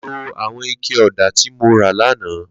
Ló awọn iké ọ̀dá ti mó rà làná